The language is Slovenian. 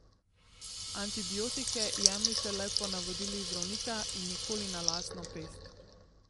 Antibiotike jemljite le po navodilih zdravnika in nikoli na lastno pest.